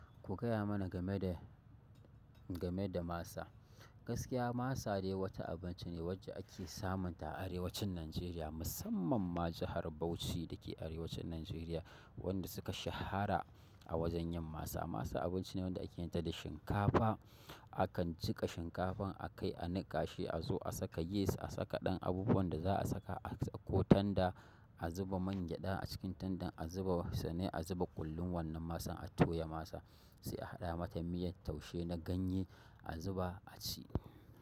Ku gaya mana game da, game da masa. Gaskiya masa dai wata abinci ne wadda ake samunta a arewacin Najeriya, musamman ma jahar Bauchi da ke arewacin Najeriya, wanda suka shahara a wajen yin masa. Masa abinci ne wanda ake yinta da shinkafa. Akan jiƙa shinkafan a kai a niƙa shi, a zo a saka yis, a saka ɗan abubuwan da za a saka ko tanda, a zuba man gyada a cikin tandan, a zuba sune, a zuba ƙullun wannan masan, a toya masa, sai a haɗa mata miyan taushe na ganye, a zuba a ci.